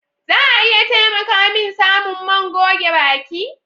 Za a iya taimaka min samun man goge baki?